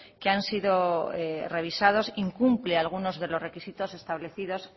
que han sido revisados incumple algunos de los requisitos establecidos